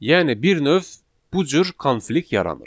Yəni bir növ bu cür konflikt yaranır.